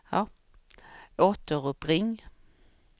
återuppring